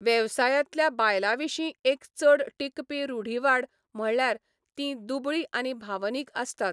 वेवसायांतल्या बायलां विशीं एक चड टिकपी रूढिवाद म्हणल्यार तीं दुबळीं आनी भावनीक आसतात.